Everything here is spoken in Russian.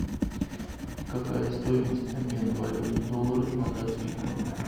какая стоимость обмена валюты доллары на датские кроны